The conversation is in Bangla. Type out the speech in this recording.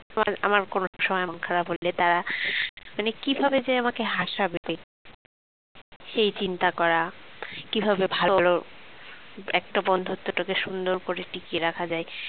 আমার কোন সময় মন খারাপ হলে তারা মানে কিভাবে যে আমাকে হাসাবে সেই চিন্তা করা কিভাবে ভালো একটা বন্ধুত্বটাকে সুন্দর করে টিকিয়ে রাখা যায়